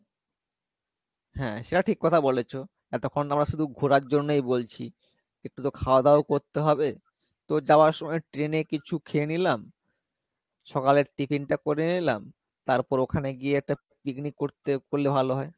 হ্যাঁ সেটা ঠিক কথা বলেছো এতক্ষণ তো আমরা শুধু ঘোরার জন্যই বলছি একটু তো খাওয়া দাওয়াও করতে হবে তো যাওয়ার সময় train এ কিছু খেয়ে নিলাম সকালের tiffin টা করে নিলাম তারপর ওখানে গিয়ে একটা picnic করতে করলে ভালো হয়